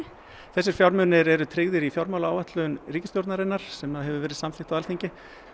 þessir fjármunir eru tryggðir í fjármálaáætlun ríkisstjórnarinnar sem hefur verið samþykkt á Alþingi